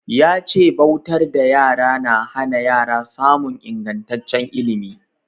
Ya ce bautar da yara na hana yara samun ingantaccen ilimi.